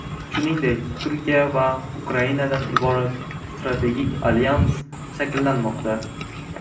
Shuningdek, Turkiya va Ukrainadan iborat strategik alyans shakllanmoqda.